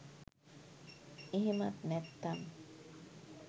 එහෙමත් නැත්තම්